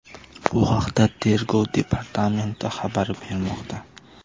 Bu haqda Tergov departamenti xabar bermoqda.